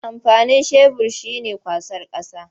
Amfanin shebur shi ne kwasar ƙasa.